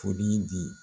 Foli di